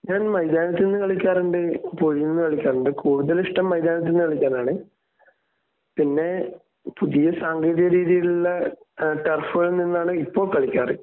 ഞാൻ മൈതാനത്തു നിന്ന് കളിക്കാറുണ്ട്. പുയിയിൽ നിന്ന് കളിക്കാറുണ്ട്. കൂടുതൽ ഇഷ്ടം മൈദാനത്തു നിന്ന് കളിക്കാനാണ്. പിന്നെ പുതിയ സാങ്കേതിക രീതിയിലുള്ള ടറഫുകളിൽ നിന്നാണ് ഇപ്പൊ കളിക്കാറ്.